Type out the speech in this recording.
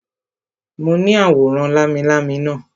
Mo ní àwòrán lámilámi naa